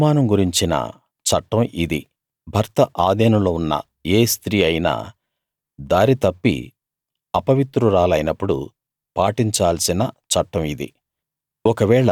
అనుమానం గురించిన చట్టం ఇది భర్త ఆధీనంలో ఉన్న ఏ స్త్రీ అయినా దారి తప్పి అపవిత్రురాలైనప్పుడు పాటించాల్సిన చట్టం ఇది